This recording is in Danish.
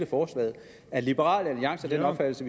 forslaget er liberal alliance af den opfattelse